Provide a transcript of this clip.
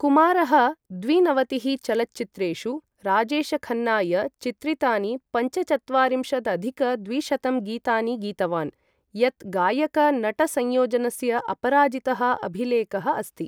कुमारः द्विनवतिः चलच्चित्रेषु राजेशखन्नाय चित्रितानि पञ्चचत्वारिंशदधिक द्विशतं गीतानि गीतवान्, यत् गायक नट संयोजनस्य अपराजितः अभिलेखः अस्ति।